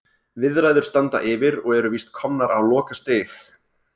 Viðræður standa yfir og eru víst komnar á lokastig.